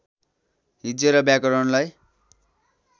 हिज्जे र व्याकरणलाई